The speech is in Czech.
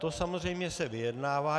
To samozřejmě se vyjednává.